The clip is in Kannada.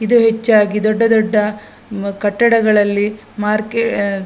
ಇದು ಹೆಚ್ಚಾಗಿ ದೊಡ್ಡ ದೊಡ್ಡ ಕಟ್ಟಡಗಳಲ್ಲಿ ಮಾರ್ಕೆ --